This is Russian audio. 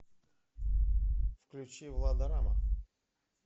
включи влада рамма